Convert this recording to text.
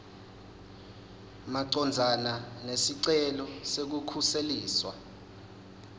macondzana nesicelo sekukhuseliswa